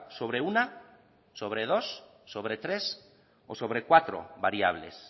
sobre una sobre dos sobre tres o sobre cuatro variables